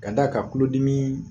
Ka d'a kan tulodimi